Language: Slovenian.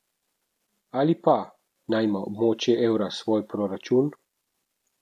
Ali pa, naj ima območje evra svoj proračun.